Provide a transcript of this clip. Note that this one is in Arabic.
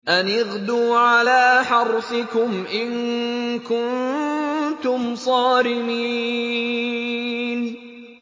أَنِ اغْدُوا عَلَىٰ حَرْثِكُمْ إِن كُنتُمْ صَارِمِينَ